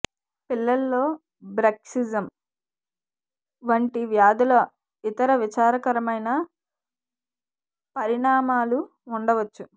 పిల్లల్లో బ్రక్సిజం వంటి వ్యాధుల ఇతర విచారకరమైన పరిణామాలు ఉండవచ్చు